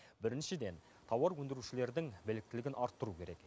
біріншіден тауар өндірушілердің біліктілігін арттыру керек